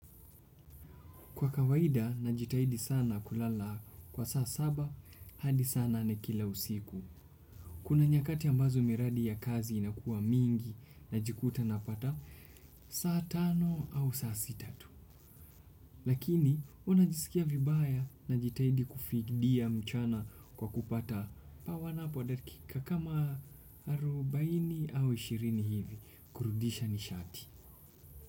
Kwa kawaida, najitahidi sana kulala kwa saa saba, hadi saa nane kila usiku. Kuna nyakati ambazo miradi ya kazi inakuwa mingi najikuta napata saa tano au saa sita tu. Lakini, unajisikia vibaya, najitaidi kufidia mchana kwa kupata pawanapo dakika kama arubaini au ishirini hivi, kurudisha nishati.